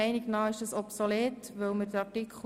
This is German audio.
– Das ist der Fall.